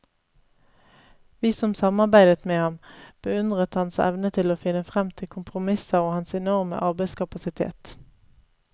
Vi som samarbeidet med ham, beundret hans evne til å finne frem til kompromisser og hans enorme arbeidskapasitet.